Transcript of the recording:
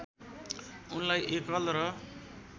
उनलाई एकल र